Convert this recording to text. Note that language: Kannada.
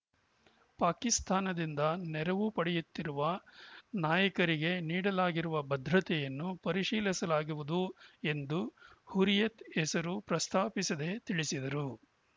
ಪಾಕಿಸ್ತಾನದಿಂದ ನೆರವು ಪಡೆಯುತ್ತಿರುವ ನಾಯಕರಿಗೆ ನೀಡಲಾಗಿರುವ ಭದ್ರತೆಯನ್ನು ಪರಿಶೀಲಿಸಲಾಗುವುದು ಎಂದು ಹುರಿಯತ್‌ ಹೆಸರು ಪ್ರಸ್ತಾಪಿಸದೇ ತಿಳಿಸಿದರು